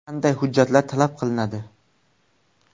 Qanday hujjatlar talab qilinadi?